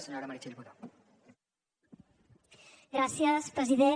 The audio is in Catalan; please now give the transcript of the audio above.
gràcies president